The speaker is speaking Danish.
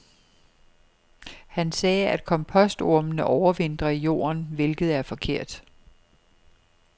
Han sagde, at kompostormene overvintrer i jorden, hvilket er forkert.